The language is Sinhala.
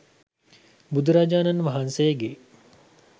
බුදුරජාණන් වහන්සේගේ